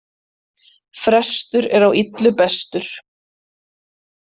Frestur er á illu bestur.